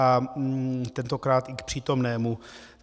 A tentokrát i k přítomnému.